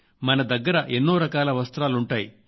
మన దగ్గర ఎన్నోరకాల వస్త్రాలుంటాయి